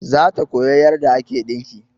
Za ta koya yarda ake ɗinki